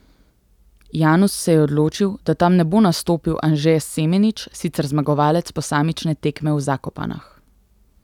Janus se je odločil, da tam ne bo nastopil Anže Semenič, sicer zmagovalec posamične tekme v Zakopanah.